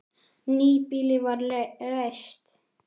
Nýbýli var reist.